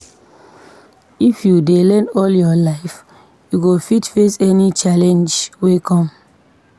If you dey learn all your life, you go fit face any challenge wey come.